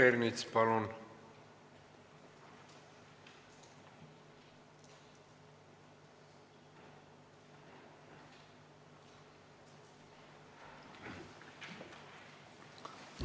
Peeter Ernits, palun!